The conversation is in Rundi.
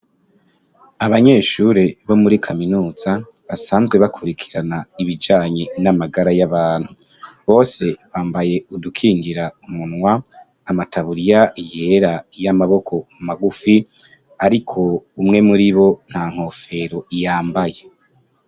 Abanyeshure bo muri kaminuza basanzwe bakurikirana ibijanye n'amagara y'abantu , bose bambaye udukingira umunwa , amataburiya yera y'amaboko magufi, ariko umwe muribo nta nkofero yambaye.